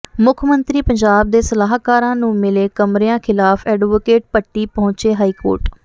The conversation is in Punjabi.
ਮੁੱਖ ਮੰਤਰੀ ਪੰਜਾਬ ਦੇ ਸਲਾਹਕਾਰਾਂ ਨੂੰ ਮਿਲੇ ਕਮਰਿਆਂ ਖਿਲਾਫ ਐਡਵੋਕੈਟ ਭੱਟੀ ਪਹੁੰਚੇ ਹਾਈਕੋਰਟ